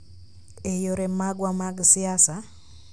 e yore magwa mag siasa,